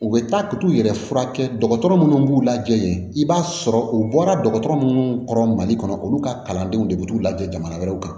U bɛ taa ka t'u yɛrɛ furakɛ dɔgɔtɔrɔ minnu b'u lajɛ i b'a sɔrɔ u bɔra dɔgɔtɔrɔ munnu kɔrɔ mali kɔnɔ olu ka kalandenw de bɛ t'u lajɛ jamana wɛrɛw kan